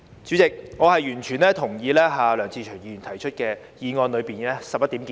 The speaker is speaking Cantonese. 主席，我完全同意梁志祥議員議案內的11點建議。